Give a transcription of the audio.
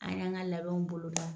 An y'an ka labɛnw bolo da.